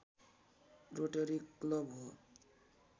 rotary club हो